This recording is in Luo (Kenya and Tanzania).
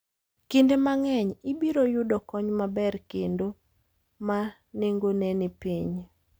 Kinde mang'eny, ibiro yudo kony maber kendo ma nengone ni piny.